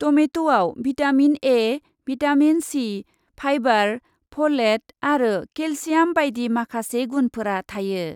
टमेट'आव vitamin A, vitamin C, fibre, folate आरो calcium बायदि माखासे गुनफोरा थायो।